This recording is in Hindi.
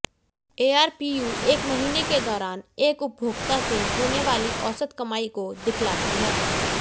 एआरपीयू एक महीने के दौरान एक उपभोक्ता से होने वाली औसत कमाई को दिखलाती है